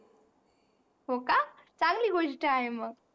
हो का? चांगली गोष्ट आहे मग.